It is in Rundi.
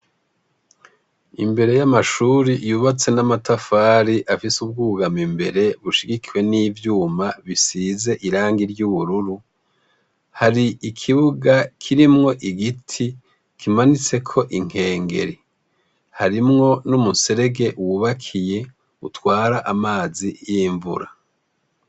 Imbere y'amashuri yubatse n'amatafari afise ubwugamo imbere, bushigikiwe n'ivyuma bisize irangi ry'ubururu, hari ikibuga kirimwo igiti kimanitseko inkengeri. Harimwo n'umuserege wubakiye utwara amazi y'imvura.